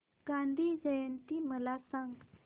गांधी जयंती मला सांग